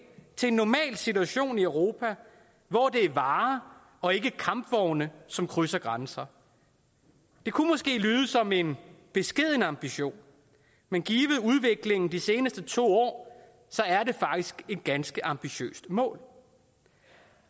til en normal situation i europa hvor det er varer og ikke kampvogne som krydser grænser det kunne måske lyde som en beskeden ambition men givet udviklingen de seneste to år er det faktisk et ganske ambitiøst mål